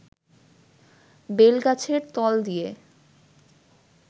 বেলগাছের তল দিয়ে